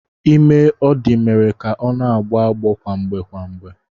Ime ọ dị mere ka ọ na-agbọ agbọọ kwamgbe kwamgbe.